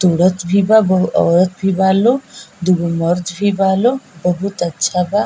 तुरत भी बा बहु औरत भी बा लोग दुगो मर्द भी बा लोग बहुत अच्छा बा।